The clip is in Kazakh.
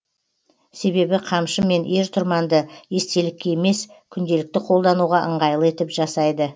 себебі қамшы мен ер тұрманды естелікке емес күнделікті қолдануға ыңғайлы етіп жасайды